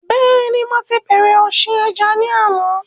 Bẹ́ẹ̀ni mo ti bẹ̀rẹ̀ ọ̀sìn ẹja ni àná